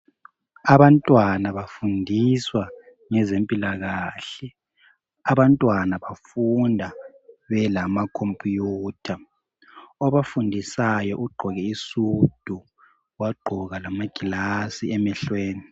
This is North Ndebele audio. Abantwana bafundiswa ngezempilakahle. Abantwana bafunda belamakhompuyutha. Obafundisayo ugqoke isudu, wagqoka lamagilasi emehlweni.